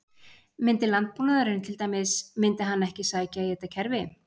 Myndi landbúnaðurinn til dæmis, myndi hann ekki sækja í þetta kerfi?